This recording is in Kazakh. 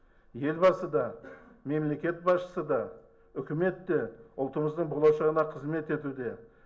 елбасы да мемлекет басшысы да үкімет те ұлтымыздың болашағына қызмет етуде